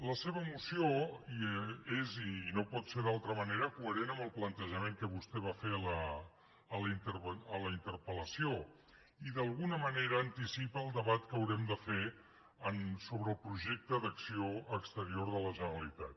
la seva moció és i no pot ser d’altra manera coherent amb el plantejament que vostè va fer a la interpellació i d’alguna manera anticipa el debat que haurem de fer sobre el projecte d’acció exterior de la generalitat